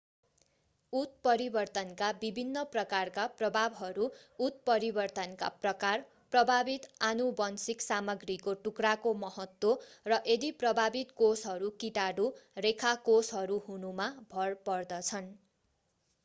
उत्परिवर्तनका विभिन्न प्रकारका प्रभावहरू उत्परिवर्तनका प्रकार प्रभावित आनुवंशिक सामग्रीको टुक्राको महत्त्व र यदि प्रभावित कोषहरू कीटाणुरेखा कोषहरू हुनुमा भर पर्दछन्।